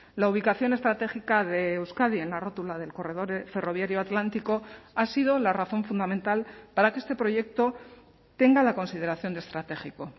la ubicación estratégica de euskadi en la rótula del corredor ferroviario atlántico ha sido la razón fundamental para que este proyecto tenga la consideración de estratégico